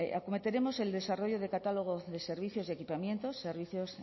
acometeremos el desarrollo de catálogo de servicios y equipamientos servicios